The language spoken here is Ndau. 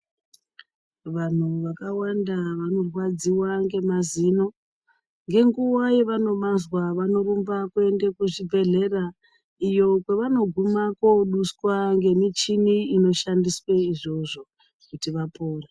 Vanhu vakawanda vanorwadziwa ngemazino, Ngenguwa yevanomazwa, vanorumba kuende kuzvibhedhlera iyo kwevanoguma koduswa ngemichini inoshandiswe izvozvo kuti vapore.